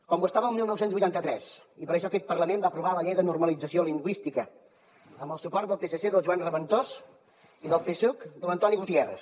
com ho estava el dinou vuitanta tres i per això aquest parlament va aprovar la llei de normalització lingüística amb el suport del psc del joan reventós i del psuc de l’antoni gutiérrez